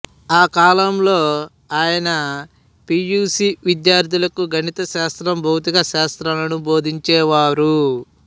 ఆ కాలంలో ఆయన పి యు సి విద్యార్థులకు గణితశాస్త్రం భౌతిక శాస్త్రాలను బోధించేవారు